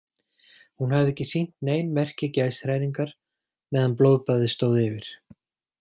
Hún hafði ekki sýnt nein merki geðshræringar meðan blóðbaðið stóð yfir.